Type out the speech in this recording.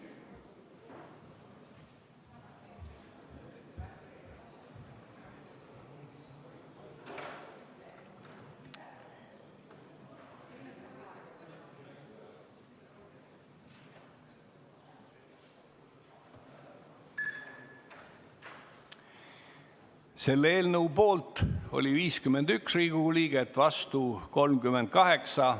Hääletustulemused Selle eelnõu poolt oli 51 Riigikogu liiget, vastu 38.